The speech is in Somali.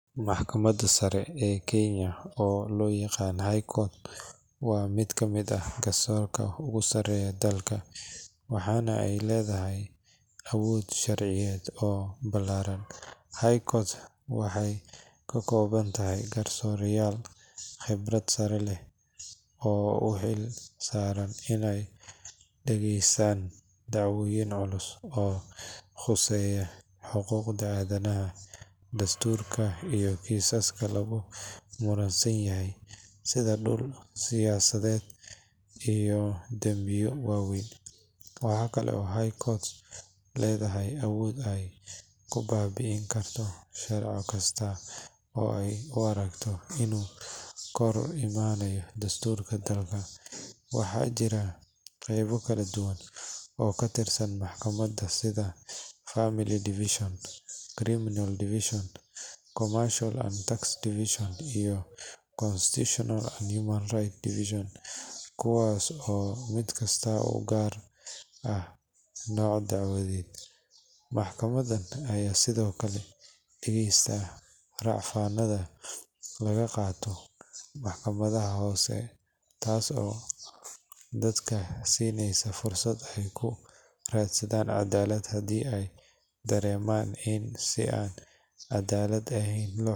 Maxkamadda Sare ee Kenya oo loo yaqaan High Court waa mid ka mid ah garsoorka ugu sareeya dalka, waxaana ay leedahay awood sharciyeed oo ballaaran. High Court waxay ka kooban tahay garsoorayaal khibrad sare leh oo u xil saaran inay dhageystaan dacwooyin culus oo khuseeya xuquuqda aadanaha, dastuurka, iyo kiisaska lagu muransan yahay sida dhul, siyaasadeed, iyo dambiyo waaweyn. Waxa kale oo High Court leedahay awood ay ku baabi'in karto sharci kasta oo ay u aragto inuu ka hor imanayo dastuurka dalka. Waxaa jira qeybo kala duwan oo ka tirsan maxkamaddan sida Family Division, Criminal Division, Commercial and Tax Division, iyo Constitutional and Human Rights Division, kuwaas oo mid kasta u gaar ah nooc dacwadeed. Maxkamaddan ayaa sidoo kale dhageysata rafcaannada laga qaato maxkamadaha hoose, taas oo dadka siineysa fursad ay ku raadsadaan cadaalad haddii ay dareemaan in si aan cadaalad ahayn loo xukumay.